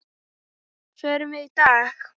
Förum við í dag?